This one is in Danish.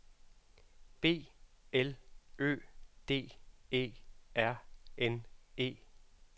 B L Ø D E R N E